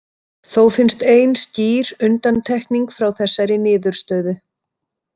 Þó finnst ein skýr undantekning frá þessari niðurstöðu.